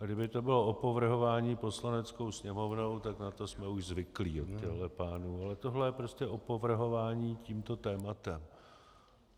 A kdyby to bylo opovrhování Poslaneckou sněmovnou, tak na to jsme už zvyklí od těchto pánů, ale tohle je prostě opovrhování tímto tématem.